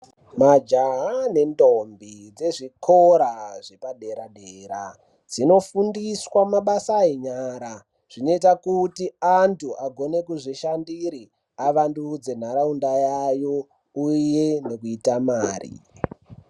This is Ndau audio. Majaha nendombi dzezvikora zvepadera dera, dzinofundiswa mabasa enyara zvinoita anthu agone kuzvishandire avandudze nharaunda yayo uye kuita mare.